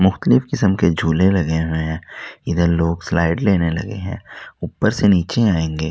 मुख्तलिफ किस्म के झूले लगे हुए हैं इधर लोग स्लाइड लेने लगे हैं ऊपर से नीचे आएंगे--